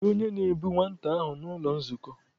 Kedu onye na-ebu nwata ahụ n'ụlọ nzukọ?